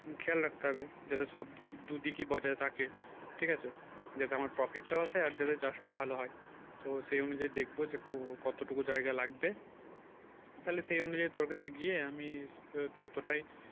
খেয়াল থাকতে হবে যাতে সব দিকে দুদিকে বজায় থাকে ঠিক আছে যাতে আমার প্রফিটটাও আছে আর যাতে চাষটাও ভালো হয় তো সে অনুযায়ী দেখব যে কতটুকু জায়গা লাগবে তাহলে সে অনুযায়ী তোর কাছে গিয়ে আমি ওই ততোটাই